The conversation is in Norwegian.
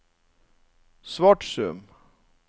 Svatsum